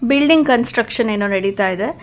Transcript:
Building construction ಏನೋ ನಡಿತಾ ಇದೆ.